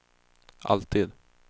alltid